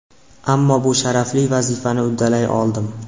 Ammo bu sharafli vazifani uddalay oldim.